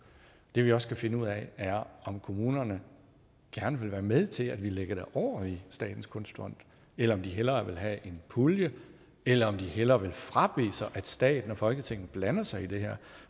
det vi også skal finde ud af er om kommunerne gerne vil være med til at vi lægger det over i statens kunstfond eller om de hellere vil have en pulje eller om de hellere vil frabede sig at staten og folketinget blander sig i det her